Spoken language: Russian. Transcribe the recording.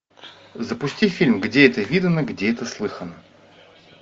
запусти фильм где это видано где это слыхано